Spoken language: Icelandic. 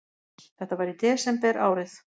Þetta var í desember árið